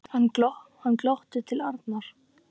Hann glotti til Arnar.